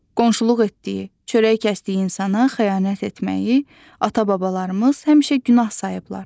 Qonşuluq etdiyi, çörək kəsdiyi insana xəyanət etməyi ata-babalarımız həmişə günah sayıblar.